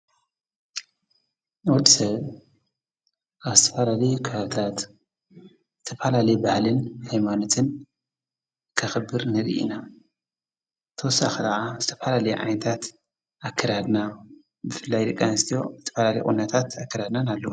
ነድሰ ኣብ ተፋለሌ ክብታራት ተጳላሌ ባሕልን ሕማኖትን ከኽብር ነድ ኢና ተወሳ ኽዓ ዝተጳላል ዓይንታት ኣከራድና ብፍላይ ድቃንስት ተፈላሌ ወነታት ኣከራድና ናሉ።